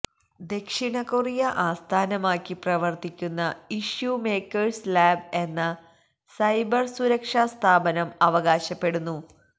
ദക്ഷിണ കൊറിയ ആസ്ഥാനമാക്കി പ്രവര്ത്തിക്കുന്ന ഇഷ്യൂ മേക്കേഴ്സ് ലാബ് എന്ന സൈബര് സുരക്ഷാ സ്ഥാപനം അവകാശപ്പെടുന്നു